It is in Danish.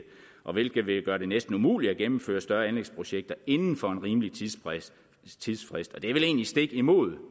hvilket vil gøre det næsten umuligt at gennemføre større anlægsprojekter inden for en rimelig tidsfrist og det er vel egentlig stik imod